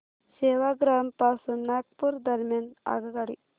सेवाग्राम पासून नागपूर दरम्यान आगगाडी